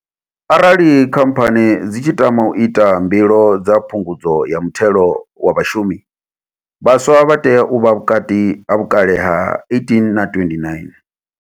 Arali Khamphani dzi tshi tama u ita mbilo dza Phungudzo ya Muthelo wa Vhashumi, vhaswa vha tea u vha vhukati ha vhukale ha 18 na 29.